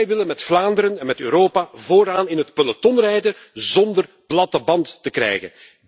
Wij willen met Vlaanderen en met Europa vooraan in het peloton rijden zonder een lekke band te krijgen.